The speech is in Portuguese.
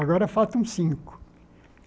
Agora faltam cinco.